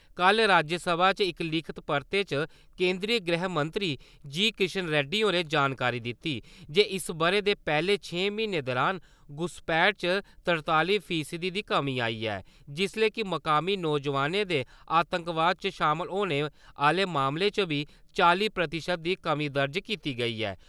कल राज्यसभा च इक लिखित परते च केंदरी गृह राज्यमंत्री जी. किशन रेड्डी होरें जानकारी दित्ती जे इस ब'रे दे पैह्ले छें म्हीनें दुरान घुसपैठ च तरताली फीसदी दी कमीं आई ऐ जिसले कि मकामी नौजोआनें दे आतंकवाद च शामल होने आह्ले मामलें च बी चाली प्रतिशत दी कमीं दर्ज कीती गेई ऐ।